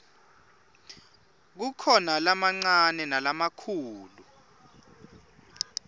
kukhona lamancane nalamikhulu